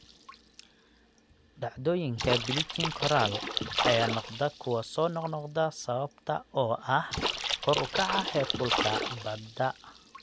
Dhacdooyinka bleaching coral ayaa noqda kuwa soo noqnoqda sababtoo ah kor u kaca heerkulka badda.